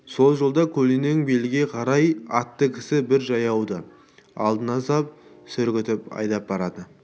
сол жолда көлденең белге қарай атты кісі бір жаяуды алдына сап сүргітіп айдап барады